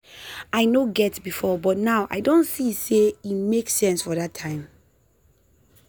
i no get before but now i don see how e make sense for that time.